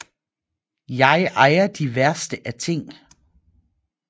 Jeg ejer de værste af ting